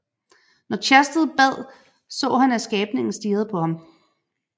Når Chastel bad så han at skabningen stirrede på ham